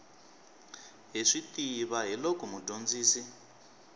hi swi tiva hiloko mudyondzisi